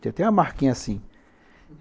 Tinha até uma marquinha assim.